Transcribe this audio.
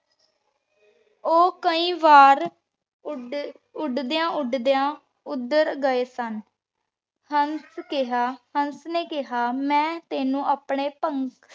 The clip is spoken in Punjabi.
ਊ ਕਈ ਵਾਰ ਉਦ੍ਦ੍ਯਾਂ ਉਦ੍ਦ੍ਯਾਂ ਉਧਰ ਜਾ ਪੋਹ੍ਨ੍ਚ੍ਯ ਸਨ ਹੰਸ ਕੇਹਾ ਹੰਸ ਨੇ ਕੇਹਾ ਮੈਂ ਤੇਨੁ ਅਪਨੇ ਪੰਖ